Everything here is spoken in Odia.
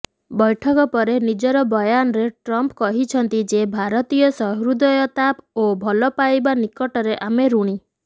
ବୈଠକ ପରେ ନିଜର ବୟାନରେ ଟ୍ରମ୍ପ କହିଛନ୍ତି ଯେ ଭାରତୀୟ ସହୃଦୟତା ଓ ଭଲପାଇବା ନିକଟରେ ଆମେ ଋଣୀ